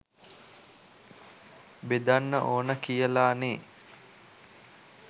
බෙදන්න ඕන කියලා නෙ.